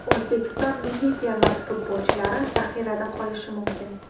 O‘zbekiston milliy termasi futbolchilari zaxirada qolishi mumkin.